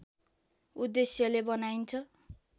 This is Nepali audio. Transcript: उद्देश्यले बनाइन्छ